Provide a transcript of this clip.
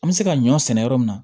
An bɛ se ka ɲɔ sɛnɛ yɔrɔ min